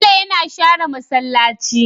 Bello yAna shere masalaci